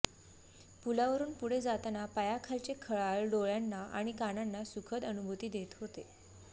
पुलावरून पुढे जाताना पायाखालचे खळाळ डोळ्यांना आणि कानांना सुखद अनुभूती देत होते